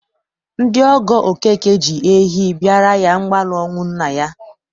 Ndị ọgọ Okeke ji ehi bịara ya mgbalu ọnwụ nna ya.